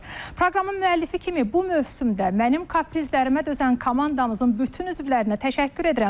Proqramın müəllifi kimi bu mövsümdə mənim kaprizlərimə dözən komandamızın bütün üzvlərinə təşəkkür edirəm.